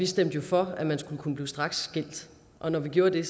stemte for at man skulle kunne blive straksskilt og når vi gjorde det